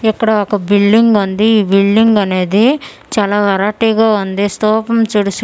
ఇక్కడ ఒక బిల్డింగ్ వుంది ఈ బిల్డింగ్ అనేది చాలా వరటీ గా వుంది స్తూపం చూడు సూటూ--